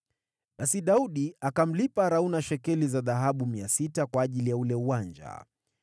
Basi Daudi akamlipa Arauna shekeli za dhahabu 600 kwa ajili ya ule uwanja.